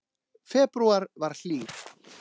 Febrúar var hlýr